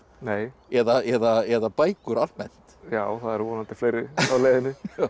eða bækur almennt já það eru vonandi fleiri á leiðinni